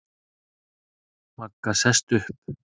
Magga sest upp.